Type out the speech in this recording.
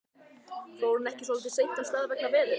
Fór hún ekki svolítið seint af stað vegna veðurs?